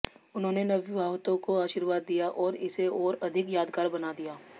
उन्होंने नवविवाहितों को आशीर्वाद दिया और इसे और अधिक यादगार बना दिया